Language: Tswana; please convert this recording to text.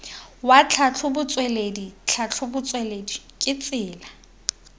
wa tlhatlhobotsweledi tlhatlhobotsweledi ke tsela